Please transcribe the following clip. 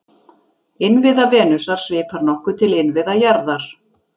Innviða Venusar svipar nokkuð til innviða jarðar.